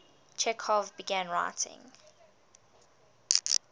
chekhov began writing